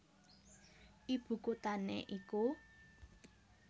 Ibu kuthané iku